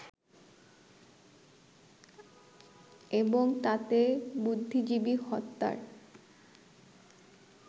এবং তাতে বুদ্ধিজীবী হত্যার